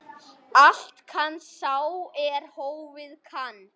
Allt kann sá er hófið kann.